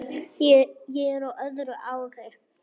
Ég er á öðru ári.